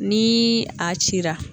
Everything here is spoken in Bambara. Ni a cira.